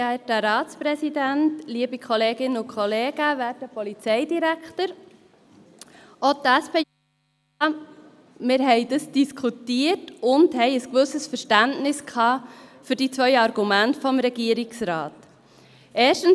Auch die SP hat dies diskutiert und ein gewisses Verständnis für die zwei Argumente des Regierungsrats gehabt.